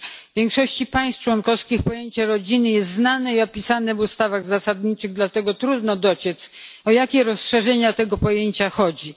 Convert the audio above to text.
W większości państw członkowskich pojęcie rodziny jest znane i opisane w ustawach zasadniczych, dlatego trudno dociec, o jakie rozszerzenia tego pojęcia chodzi.